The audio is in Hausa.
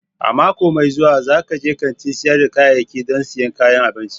A mako mai zuwa, zan je kantin sayar da ƙayayyaki don siyan kayan abinci.